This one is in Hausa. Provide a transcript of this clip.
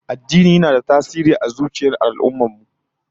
Addini yana da tasiri a zuciyar al'ummar mu